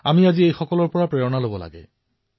আজি আমি তেওঁলোকৰ পৰা অনুপ্ৰাণিত হব লাগে